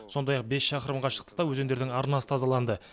сондай ақ бес шақырым қашықтықта өзендердің арнасы тазаланды